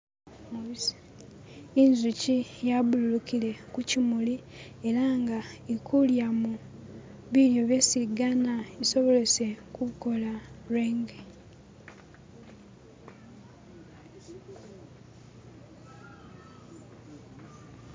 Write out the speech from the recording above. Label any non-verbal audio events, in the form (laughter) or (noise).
"(skip)" inzuki yaburukile kukyimuli ela nga ilikulyamo bilyo byesiigana isobolese kukola lwenge "(skip)".